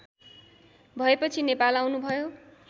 भएपछि नेपाल आउनुभयो